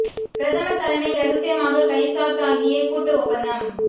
பிரதமர் தலைமையில் ரகசியமாக கைச்சாத்தாகிய கூட்டு ஒப்பந்தம்